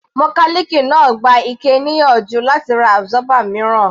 Mọkálìkì náà gba Ike níyànjú láti ra absorber mìíràn.